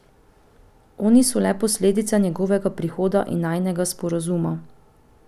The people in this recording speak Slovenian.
Oni so le posledica njegovega prihoda in najinega sporazuma.